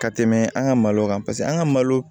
Ka tɛmɛ an ka malo kan paseke an ka malo